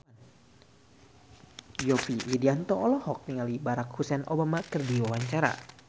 Yovie Widianto olohok ningali Barack Hussein Obama keur diwawancara